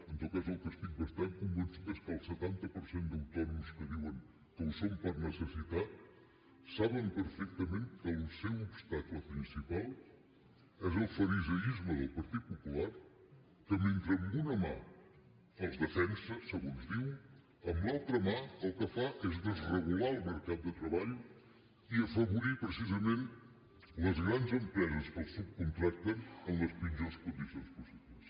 en tot cas del que estic bastant convençut és que el setanta per cent d’autònoms que diuen que ho són per necessitat saben perfectament que el seu obstacle principal és el fariseisme del partit popular que mentre amb una mà els defensa segons diu amb l’altra mà el que fa és desregular el mercat de treball i afavorir precisament les grans empreses que els subcontracten en les pitjors condicions possibles